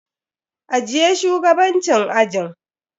Ajiye shugabancin ajin.